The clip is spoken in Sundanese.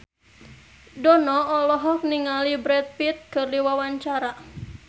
Dono olohok ningali Brad Pitt keur diwawancara